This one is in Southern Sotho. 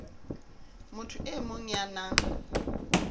motho e mong ya nang